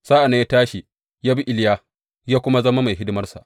Sa’an nan ya tashi, ya bi Iliya, ya kuma zama mai hidimarsa.